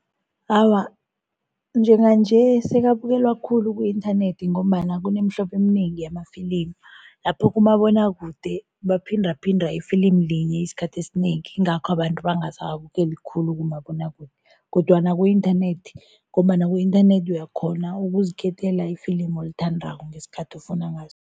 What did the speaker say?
Awa, njenganje sekabukelwa khulu ku-inthanethi ngombana kunemihlobo eminengi yamafilimi, lapho kumabonwakude baphindaphinda ifilimi linye isikhathi esinengi, yingakho abantu bangasawabukeli khulu kumabonwakude kodwana ku-inthanethi ngombana ku-inthanethi uyakghona ukuzikhethela ifilimi olithandako, ngesikhathi ofuna ngaso.